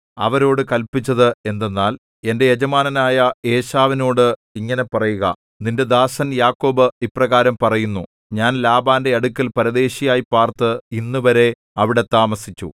അവരോടു കല്പിച്ചത് എന്തെന്നാൽ എന്റെ യജമാനനായ ഏശാവിനോട് ഇങ്ങനെ പറയുക നിന്റെ ദാസൻ യാക്കോബ് ഇപ്രകാരം പറയുന്നു ഞാൻ ലാബാന്റെ അടുക്കൽ പരദേശിയായി പാർത്ത് ഇന്നുവരെ അവിടെ താമസിച്ചു